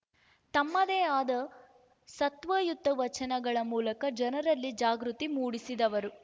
ತಮ್ಮದೇ ಆದ ಸತ್ವಯುತ ವಚನಗಳ ಮೂಲಕ ಜನರಲ್ಲಿ ಜಾಗೃತಿ ಮೂಡಿಸಿದವರು